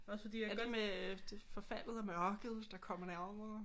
Er det med forfaldet og mørket der kommer nærmere